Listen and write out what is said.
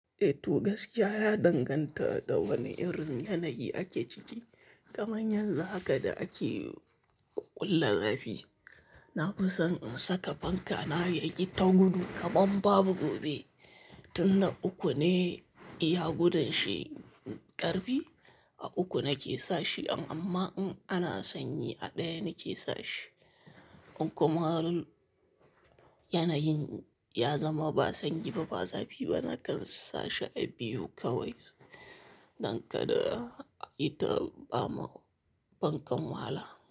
Eh to gaskiya ya danganta da wane irin yanayi ake ciki. Kamar yanzu haka da ake ƙulla zafi, na fi son in saka fanka na yaki ta gudu kamar babu gobe. Tun na uku ne iya gudun shi ƙarfi, a uku nake sashe. Amma in ana sanyi a ɗaya nake sashe. In kuma yanayin ya zama ba sanyi ba, ba zafi ba, nakan sashi a biyu kawai. Don kada ita ba ma fankan wahala.